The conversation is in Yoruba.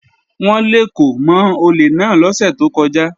Wọ́n lèkò mọ́ olè náà lọ́sẹ̀ tó kọjá